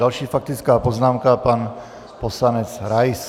Další faktická poznámka - pan poslanec Rais.